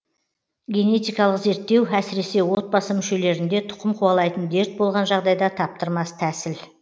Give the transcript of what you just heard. генетикалық зерттеу әсіресе отбасы мүшелерінде тұқым қуалайтын дерт болған жағдайда таптырмас тәсіл